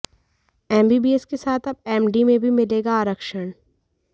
MBBS के साथ अब एमडी में भी मिलेगा आरक्षण